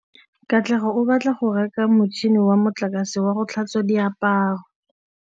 Katlego o batla go reka motšhine wa motlakase wa go tlhatswa diaparo.